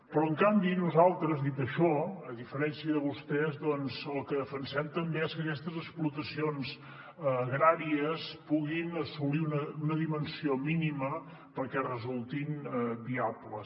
però en canvi nosaltres dit això a diferència de vostès el que defensem també és que aquestes explotacions agràries puguin assolir una dimensió mínima perquè resultin viables